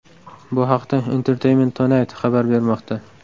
Bu haqda Entertainment Tonight xabar bermoqda .